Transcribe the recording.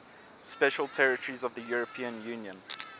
special territories of the european union